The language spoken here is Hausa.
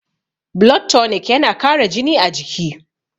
blood tonic yana Kara jini a jiki